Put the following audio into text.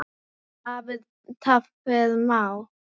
Það hafi tafið málið.